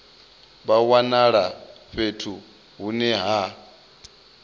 vha wanala fhethu hune ha